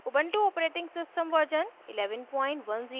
ubuntu operating system version 1110